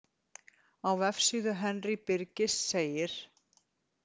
Á vefsíðu Henry Birgis segir: